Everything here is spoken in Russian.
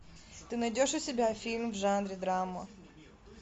ты найдешь у себя фильм в жанре драма